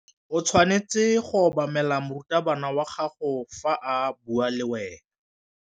O tshwanetse go obamela morutabana wa gago fa a bua le wena.